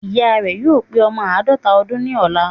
Ìya rè yóò pé ọmọ àádọ́ta ọdún ní ọ̀la